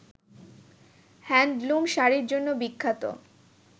handloom শাড়ির জন্য বিখ্যাত